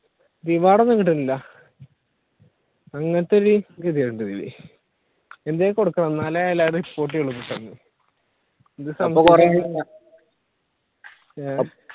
reward ഒന്നും കിട്ടണില്ല അങ്ങനത്തെ ഒരു എന്തെങ്കിലും കൊടുക്കണം എന്നാലേ എല്ലാവരും report ചെയ്യുള്ളു